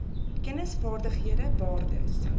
kennis vaardighede waardes